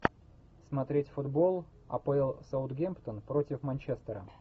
смотреть футбол апл саутгемптон против манчестера